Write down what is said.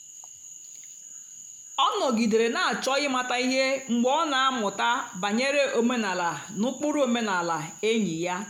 ọ nọ̀gìdèrè na-àchọ́ ị̀matà ihe mgbe ọ na-àmụ́tà bànyèrè òmenàlà na ụ́kpụ́rụ́ òmenàlà ényì ya.